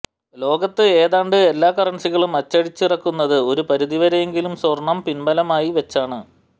ലോകത്ത് ഏതാണ്ട് എല്ലാ കറന്സികളും അടിച്ചിറക്കുന്നത് ഒരു പരിധിവരെയെങ്കിലും സ്വര്ണം പിന്ബലമായി വെച്ചാണ്